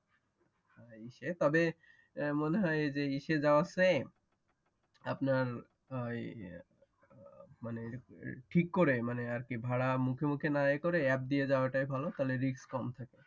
তবে মনে হয় যে ইউসেজ সেম আপনার ঠিক করে মানে আরকি ভাড়া মুখে মুখে না করে অ্যাপ দিয়ে যাওয়াটাই ভালো